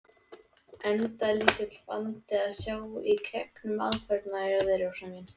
Enda lítill vandi að sjá í gegnum aðferðirnar hjá þér, Rósa mín.